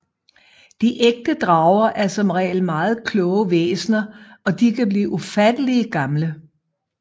De ægte drager er som regel meget kloge væsner og de kan blive ufatteligt gamle